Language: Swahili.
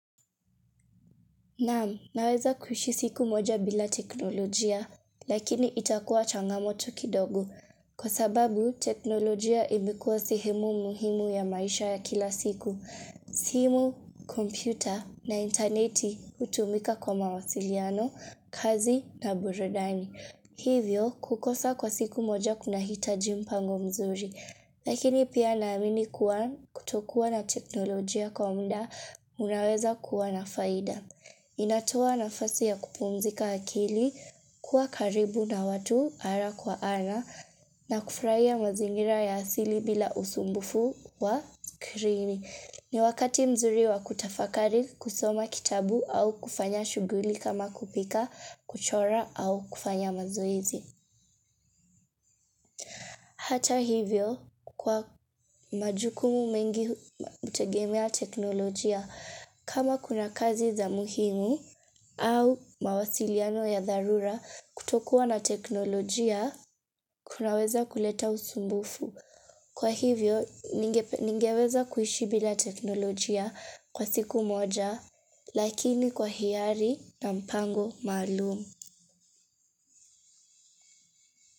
Naam, naweza kuishi siku moja bila teknolojia, lakini itakuwa changamoto kidogo. Kwa sababu, teknolojia imekuwa sehemu muhimu ya maisha ya kila siku. Sehemu, kompyuta na intaneti hutumika kwa mawasiliano, kazi na burudani. Hivyo, kukosa kwa siku moja kuna hitaji mpango mzuri. Lakini pia naamini kuwa kutokuwa na teknolojia kwa muda, unaweza kuwa na faida. Inatoa nafasi ya kupumzika akili, kuwa karibu na watu ana kwa ana, na kufurahia mazingira ya asili bila usumbufu wa skrini. Ni wakati mzuri wa kutafakari kusoma kitabu au kufanya shughuli kama kupika, kuchora au kufanya mazoezi. Hata hivyo kwa majukumu mengi hutegemea teknolojia kama kuna kazi za muhimu au mawasiliano ya dharura kutokuwa na teknolojia kunaweza kuleta usumbufu. Kwa hivyo ningeweza kuishi bila teknolojia kwa siku moja lakini kwa hiari na mpango maalumu.